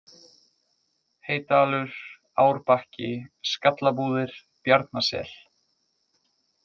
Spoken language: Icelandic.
Heydalur, Árbakki, Skallabúðir, Bjarnasel